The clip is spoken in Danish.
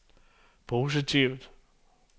positivt